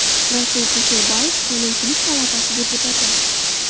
Rasul Kusherbayev, Qonunchilik palatasi deputati.